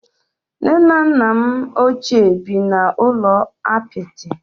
Nne na nna m ochie bi n'ụlọ apịtị